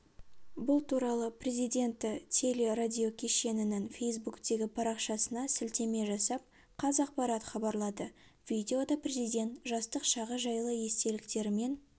бұл туралы президенті телерадиокешенінің фейсбуктегі парақшасына сілтеме жасап қазақпарат хабарлады видеода президент жастық шағы жайлы естеліктерімен